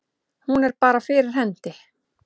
Hún er bara fyrir hendi.